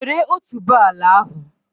Wèré otuboala ahụ